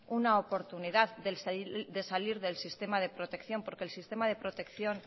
una oportunidad de salir del sistema de protección porque el sistema de protección